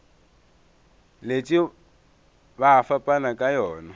letše ba fapana ka yona